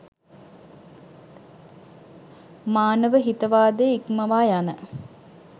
මානව හිතවාදය ඉක්මවා යන